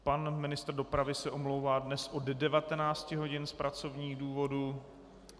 Pan ministr dopravy se omlouvá dnes od 19 hodin z pracovních důvodů.